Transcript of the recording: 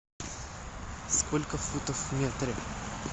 сколько футов в метре